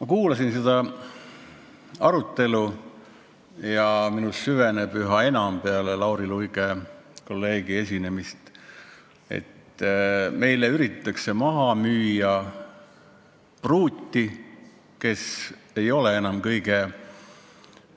Ma kuulasin seda arutelu ja minus süveneb peale Lauri Luige esinemist üha enam veendumus, et meile üritatakse maha müüa pruuti, kes ei ole kõige